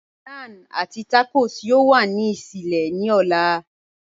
Naan àti tacos yọ̀ò wà ní ìṣẹlẹ̀ ní ò̩là.